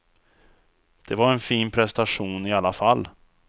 Det var en fin prestation i alla fall.